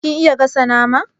Kin iya gasa nama?